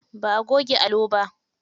Ba a goge allo ba.